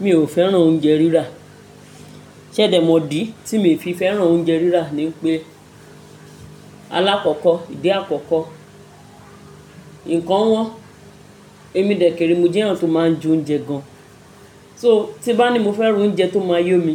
Mi ò fẹ́ràn oúnjẹ rírà. Ṣẹ̀dẹ mọ̀ dí tí mi fi fẹ́ràn oúnjẹ rírà ni pé alákọ̀ọ́kọ́, ìdí àkọ́kọ́, ǹkan wọ́n, èmi dẹ̀kẹ̀re mo jẹ́ ẹ́eyan to máa ń jẹ oúnjẹ gan. So tí n bá ni mo fẹ́rà oúnjẹ tó máa yómi,